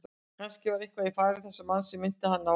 Kannske var eitthvað í fari þessa manns sem minnti hann á